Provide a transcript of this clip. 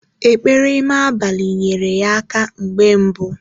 Ekpere ime abalị nyere ya aka mgbe mbu